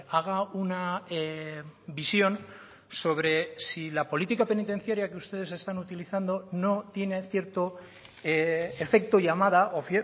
haga una visión sobre si la política penitenciaria que ustedes están utilizando no tiene cierto efecto llamada o